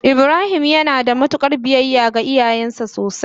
ibrahim yanada mutukar biyayya ga iyayansa sosai.